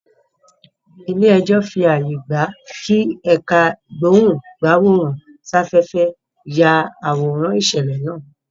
Ilé ẹjọ́ fí ààyè gbà kí ẹ̀ká ìgbóhùn-gbáwòrán-sáfẹ́fẹ́ yá àwòrán ìṣẹ̀lẹ̀ náà